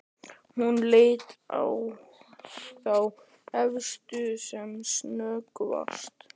Hún leit á þá efstu sem snöggvast.